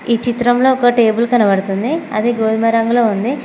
ఈ చిత్రంలో ఒక టేబుల్ కనబడుతుంది అది గోధుమ రంగులో ఉంది.